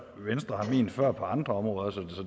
før på andre områder så